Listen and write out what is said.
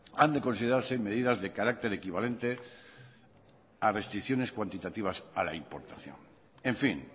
han de considerarse medidas de carácter equivalente a restricciones cuantitativas a la importación en fin